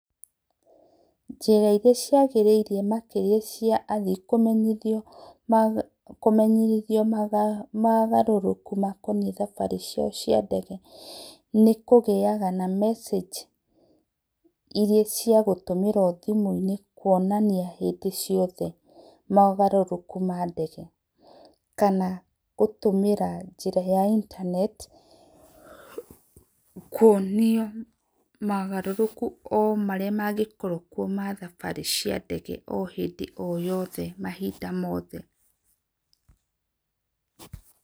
Njĩra ĩrĩa ciagĩrĩ ire makĩrĩa cia athĩĩ kũmenyĩthĩo kũmenyĩthĩo mogarũrũkũ makoniĩ thabarĩ ciao cia ndege nĩ kũgĩaga na message ĩrĩa cĩa gũtũmĩrwo thĩmũ inĩ kũonanĩa hĩndĩ ciothe mogarũrũkũ ma ndege, kana gũtũmĩra njĩra ya internet kũonĩo mogarũrũko o marĩa magĩkorwo kwo ma thabarĩ cia ndege o hĩndĩ o yothe mahĩnda mothe.